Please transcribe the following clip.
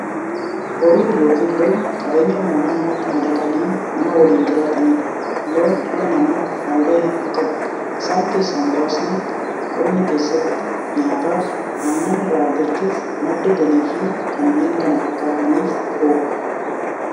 Horiin yookiin loon qabeenya uumamaa namatti madaqanii nama waliin jiraataniidha. Loon dhala namaaf faayidaa hedduu qabu. Isaan keessaa muraasni; qonna keessatti, nyaataaf, aannan irraa argachuuf, madda galiifi kanneen kana fakkaataniif oolu.